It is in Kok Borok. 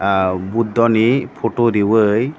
ah buddha ni poto rioe.